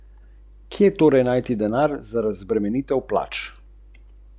Kranj.